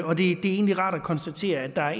og det er egentlig rart at konstatere at der er